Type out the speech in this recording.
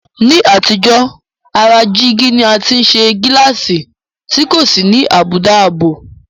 Ní àtijọ́, ara jígí ni a ti ń ṣe gíláàsì tí kò sì ní àbùdá ààbò